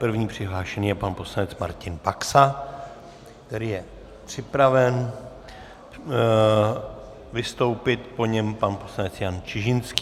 První přihlášený je pan poslanec Martin Baxa, který je připraven vystoupit, po něm pan poslanec Jan Čižinský.